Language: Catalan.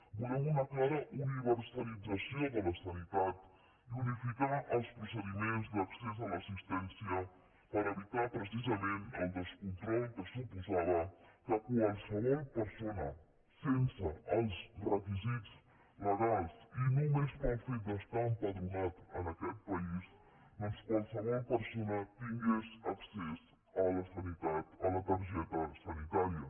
volem una clara universalització de la sanitat i unificar els procediments d’accés a l’assistència per evitar precisament el descontrol que suposava que qualsevol persona sense els requisits legals i només pel fet d’estar empadronat en aquest país doncs qualsevol persona tingués accés a la sanitat a la targeta sanitària